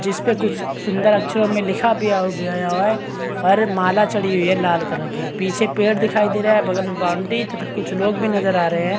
जिसपे कुछ सूंदर अक्षरो में लिखा बिया बिया हुआ है और माला चढ़ी हुई है लाल कलर की पीछे पेड़ दिखाई दे रहा है बगल मे बॉउंड्री तथा कुछ लोग भी नज़र आ रहे है।